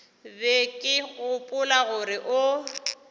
be ke gopola gore o